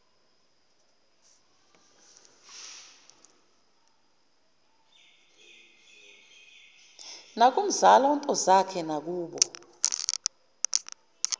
nakumzala untozakhe nakubo